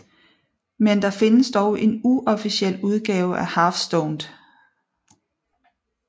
Men der findes dog en uofficiel udgave af Half Stoned